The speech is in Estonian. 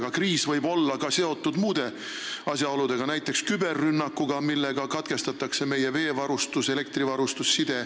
Aga kriis võib olla seotud ka muude asjaoludega, näiteks küberrünnakuga, millega katkestatakse meie veevarustus, elektrivarustus ja side.